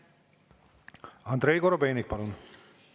Andrei Korobeinik, palun!